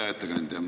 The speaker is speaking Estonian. Hea ettekandja!